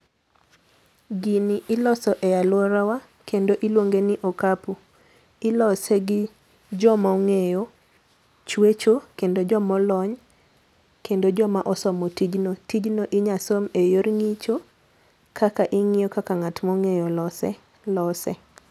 Gini iloso e aluora wa kendo iluonge ni okapu ,ilose gi joma ong'eyo chuecho kendo joma olony, kendo joma osomo tijno. Tijno inya som e yor ng'icho, kaka ing'iyo kaka ng'at ma ong'eyo lose lose.